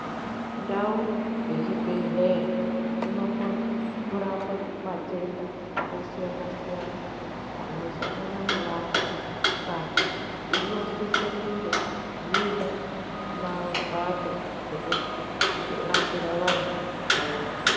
Ndau dzezvi bhedhleya dzinokone kurapa matenda akasiyana-siyana anosangana nevanhu, Saka dzinosisa kunge dzine mbatso rekurapira vantu dzakawanda.